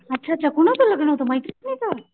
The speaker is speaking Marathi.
अच्छा अच्छा कोणाचं लग्न होत मेत्रीणींच?